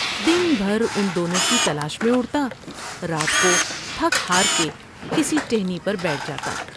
دن بھر ان دونوں کی تلاش میں اڑتا ، رات کو تھک ہار کے کسی ٹہنی پر بیٹھ جا تا ۔